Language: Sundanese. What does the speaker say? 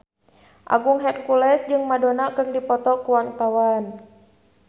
Agung Hercules jeung Madonna keur dipoto ku wartawan